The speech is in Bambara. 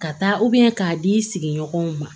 Ka taa k'a di sigiɲɔgɔnw ma